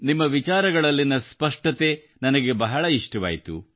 ನಿಮ್ಮ ವಿಚಾರಗಳಲ್ಲಿನ ಸ್ಪಷ್ಟತೆ ನನಗೆ ಬಹಳ ಇಷ್ಟವಾಯಿತು